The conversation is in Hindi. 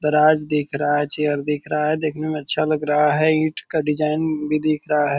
दराज दिख रहा है चेयर दिख रहा है। देखने में अच्छा लग रहा है। ईट का डिज़ाइन भी दिख रहा है।